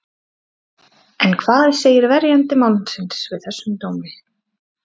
En hvað segir verjandi mannsins við þessum dómi?